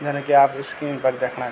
जन की आप स्क्रीन पर देखणा --